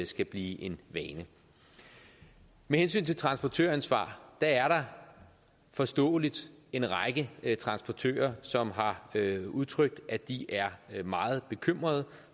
skal blive en vane med hensyn til transportøransvar er der forståeligt en række transportører som har udtrykt at de er meget bekymrede